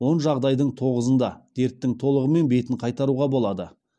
он жағдайдың тоғызында дерттің толығымен бетін қайтаруға болады